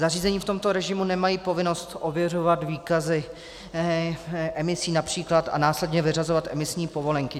Zařízení v tomto režimu nemají povinnost ověřovat výkazy emisí, například a následně vyřazovat emisní povolenky.